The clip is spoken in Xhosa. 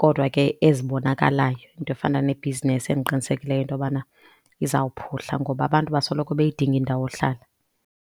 Kodwa ke ezibonakalayo. Into efana ne-business endiqinisekileyo into yobana izawuphuhla ngoba abantu basoloko beyidinga indawo hlala.